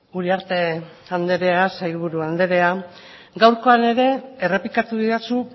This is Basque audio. uriarte andrea sailburu andrea gaurkoan ere errepikatu didazu